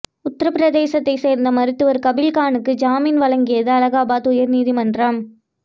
உத்திரப்பிரதேசத்தை சேர்ந்த மருத்துவர் கபீல் கானுக்கு ஜாமீன் வழங்கியது அலகாபாத் உயர்நீதிமன்றம்